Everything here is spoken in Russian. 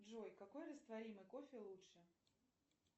джой какой растворимый кофе лучше